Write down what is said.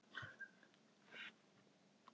Þú áttir aldrei séns